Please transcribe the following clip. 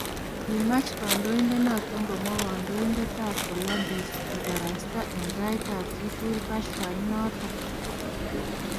Kimaach kondoidonoton komwa kondoindet Volodymrz kibarasta en tait ab chutugul kashfa inoton.